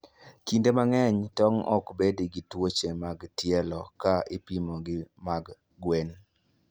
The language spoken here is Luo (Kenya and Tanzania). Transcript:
Kinde mang'eny, tong' ok bed gi tuoche mag tielo ka ipimo gi mag gwen.